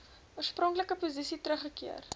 oorspronklike posisie teruggekeer